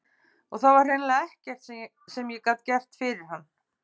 Og það var hreinlega ekkert sem ég gat fyrir hann gert.